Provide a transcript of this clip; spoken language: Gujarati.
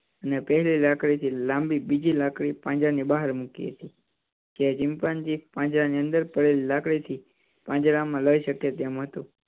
અને પેલી લાકડી થી લાંબી બીજી લાકડી પાંજરા ની બહાર મૂકી હતી. જે ચિંપાંજી પાંજરા ની અંદર પડેલી લાકડી થી પાંજરા માં લાવી અકે એમ હતું.